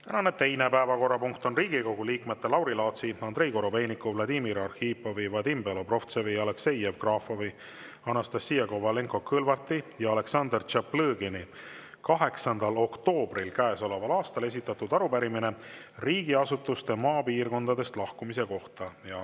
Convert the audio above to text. Tänane teine päevakorrapunkt on Riigikogu liikmete Lauri Laatsi, Andrei Korobeiniku, Vladimir Arhipovi, Vadim Belobrovtsevi, Aleksei Jevgrafovi, Anastassia Kovalenko-Kõlvarti ja Aleksandr Tšaplõgini 8. oktoobril käesoleval aastal esitatud arupärimine riigiasutuste maapiirkondadest lahkumise kohta.